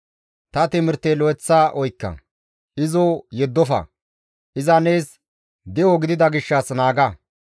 Ta timirte lo7eththa oykka; izo yeddofa; iza nees de7o gidida gishshas izo naaga.